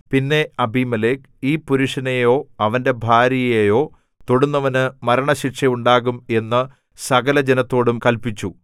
പിന്നെ അബീമേലെക്ക് ഈ പുരുഷനെയോ അവന്റെ ഭാര്യയെയോ തൊടുന്നവനു മരണശിക്ഷ ഉണ്ടാകും എന്ന് സകലജനത്തോടും കല്പിച്ചു